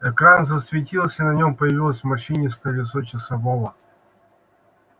экран засветился на нем появилось морщинистое лицо часового